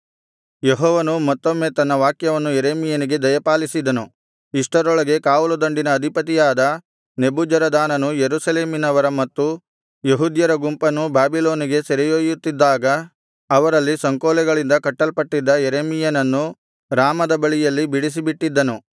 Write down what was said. ಯೆಹೋವನು ಮತ್ತೊಮ್ಮೆ ತನ್ನ ವಾಕ್ಯವನ್ನು ಯೆರೆಮೀಯನಿಗೆ ದಯಪಾಲಿಸಿದನು ಇಷ್ಟರೊಳಗೆ ಕಾವಲುದಂಡಿನ ಅಧಿಪತಿಯಾದ ನೆಬೂಜರದಾನನು ಯೆರೂಸಲೇಮಿನವರ ಮತ್ತು ಯೆಹೂದ್ಯರ ಗುಂಪನ್ನು ಬಾಬಿಲೋನಿಗೆ ಸೆರೆಯೊಯ್ಯುತ್ತಿದ್ದಾಗ ಅವರಲ್ಲಿ ಸಂಕೋಲೆಗಳಿಂದ ಕಟ್ಟಲ್ಪಟ್ಟಿದ್ದ ಯೆರೆಮೀಯನನ್ನು ರಾಮದ ಬಳಿಯಲ್ಲಿ ಬಿಡಿಸಿಬಿಟ್ಟಿದ್ದನು